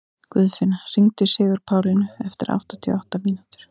Guðfinna, hringdu í Sigurpálínu eftir áttatíu og átta mínútur.